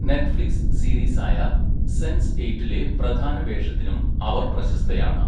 Netflix സീരീസായ Sense എയ്റ്റിലെ പ്രധാന വേഷത്തിനും അവർ പ്രശസ്തയാണ്.